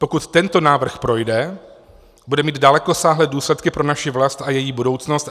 Pokud tento návrh projde, bude mít dalekosáhlé důsledky pro naši vlast a její budoucnost.